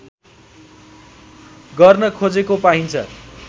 गर्न खोजेको पाइन्छ